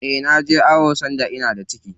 Eh naje awon da ina da ciki.